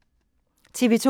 TV 2